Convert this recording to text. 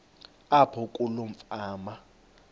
apho kuloo fama